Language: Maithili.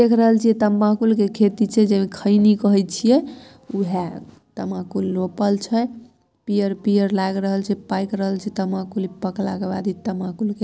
देख रहल छीये तंबाकू के खेती छै जे खैनी कहे छीये ऊहा तंबाकू रोपल छै पीयर-पीयर लाएग रहल छै पाएक रहल छै तंबाकुल के पकला के बाद इ तंबाकूल के ---